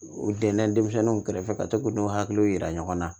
U dɛnna denmisɛnw kɛrɛfɛ ka to k'u n'u hakiliw yira ɲɔgɔn na